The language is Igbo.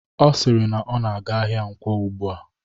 Ọ siri na ọ na-aga ahịa Nkwo ugbua